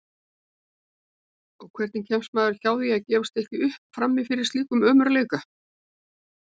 Og hvernig kemst maður hjá því að gefast ekki upp frammi fyrir slíkum ömurleika?